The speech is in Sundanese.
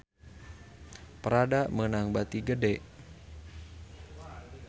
Prada meunang bati gede